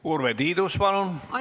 Urve Tiidus, palun!